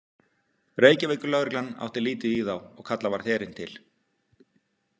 Reykjavíkurlögreglan átti lítið í þá og kalla varð herinn til.